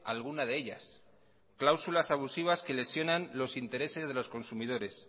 alguna de ellas cláusulas abusivas que lesionan los intereses de los consumidores